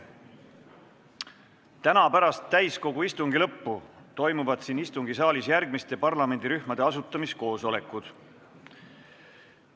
Täna pärast täiskogu istungi lõppu toimuvad siin istungisaalis järgmiste parlamendirühmade asutamiskoosolekud.